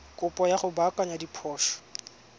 kopo ya go baakanya diphoso